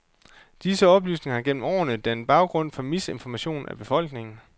Disse oplysninger har gennem årene dannet baggrund for misinformation af befolkningen.